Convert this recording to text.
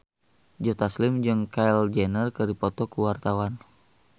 Joe Taslim jeung Kylie Jenner keur dipoto ku wartawan